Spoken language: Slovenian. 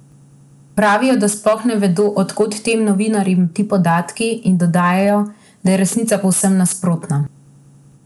Pravijo, da sploh ne vedo, od kod tem novinarjem ti podatki, in dodajajo, da je resnica povsem nasprotna.